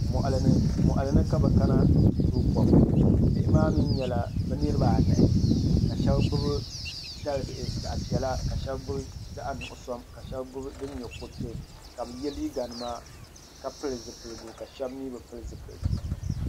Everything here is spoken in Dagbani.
Moɣali ni ka bi kana ni bi ti tooi kom bihi maa mii nyɛla bi niraba anahi ka shab gbubi dalibihi zaɣ piɛla ka shab gbubi zaɣ nuɣso ka shab gbubi din nyɛ kuriti ka bi yɛ liiga nima ka pili zipiligu ka shab mii bi pili zipiligu